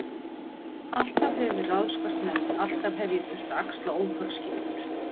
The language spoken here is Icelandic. Alltaf hefur verið ráðskast með mig, alltaf hef ég þurft að axla ótal skyldur.